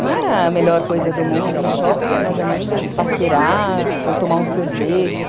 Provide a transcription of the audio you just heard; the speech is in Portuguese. Não era a melhor coisa do mundo ir no shopping com as minhas amigas, paquerar ou tomar um sorvete.